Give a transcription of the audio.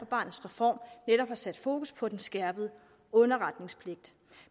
barnets reform netop har sat fokus på den skærpede underretningspligt